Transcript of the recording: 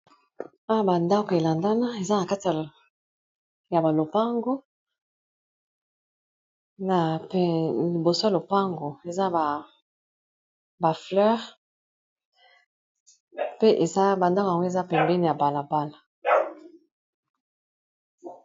awa bandako elandana eza na katia ya balopango na peliboso ya lopango eza bafleur pe eza bandako yango eza pembeni ya balabala